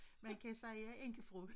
Man kan sige jeg er enkefrue